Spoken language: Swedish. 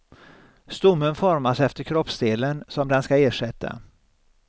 Stommen formas efter kroppsdelen som den ska ersätta.